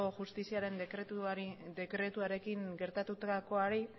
justiziaren dekretuarekin gertatukoari